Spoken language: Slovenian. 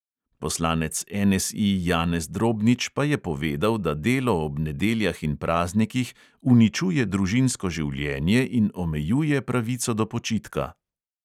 Poslanec NSI janez drobnič pa je povedal, da delo ob nedeljah in praznikih uničuje družinsko življenje in omejuje pravico do počitka.